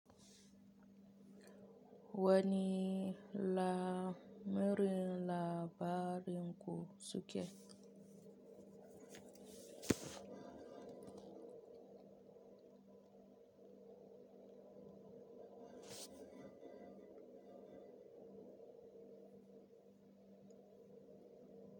Wani la marin la barin ku suke.